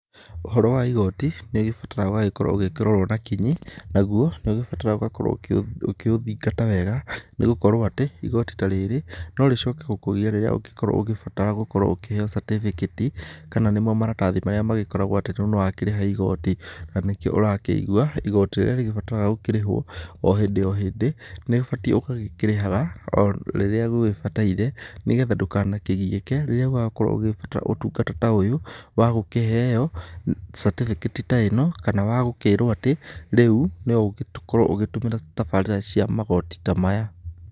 Ũhoro wa igoti nĩũgĩbataraga ũgagĩkorwo ũgĩkĩrorwo na kinyi. Naguo, nĩ ũgĩbataraga ũgakorwo ũkĩũthingata wega, nĩgũkorwo atĩ igoti ta rĩrĩ norĩcoke gũkũgia rĩrĩa ũngĩkorwo ũgĩbatara gũkorwo ũkĩheyo catĩbĩkĩti. Kana nĩ mo maratathi marĩa magĩkoragwo atĩ rĩu nĩwakĩrĩha igoti. Na nĩkĩo ũrakĩigua, igoti rĩrĩa rĩgĩbataraga gũkĩrĩhwo, o hĩndĩ o hĩndĩ nĩũbatiĩ ũgakĩrĩhaga, o rĩrĩa gũgĩbataire, nĩgetha ndũkanakĩgiĩke rĩrĩa ũgakorwo ũgĩbatara ũtungata ta ũyũ wa gũkĩheyo catĩbĩkĩti ta ĩno, kana wagũkĩrwo atĩ rĩu noũgĩkorwo ũgĩtũmĩra tabarĩra cia magoti ta maya·